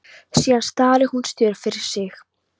Síðan starir hún stjörf fram fyrir sig.